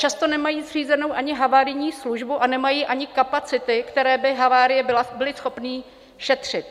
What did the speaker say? Často nemají zřízenou ani havarijní službu a nemají ani kapacity, které by havárie byly schopny šetřit.